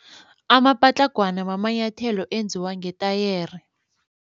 Amapatlagwana mamanyathelo enziwa ngetayere.